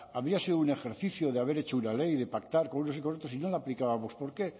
habría sido un ejercicio de haber hecho una ley de pactar con unos y otros si no la aplicábamos por qué